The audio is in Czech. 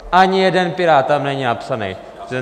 Ani jeden pirát tam není napsaný.